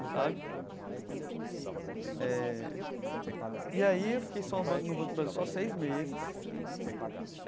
Sabe eh e aí eu fiquei só o Banco no Banco do Brasil só seis meses né.